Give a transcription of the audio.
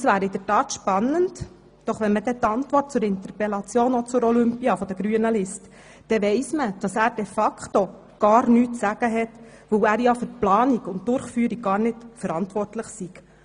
Das wäre tatsächlich spannend, doch wenn man dann die Antwort zur Interpellation der Grünen zur Olympiade liest, dann weiss man, dass er de facto gar nichts zu sagen hat, weil er ja für die Planung und Durchführung gar nicht verantwortlich ist.